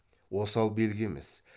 осал белгі емес